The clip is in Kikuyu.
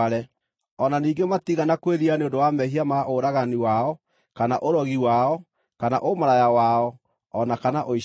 O na ningĩ matiigana kwĩrira nĩ ũndũ wa mehia ma ũragani wao, kana ũrogi wao, kana ũmaraya wao, o na kana ũici wao.